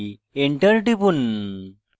enter টিপুন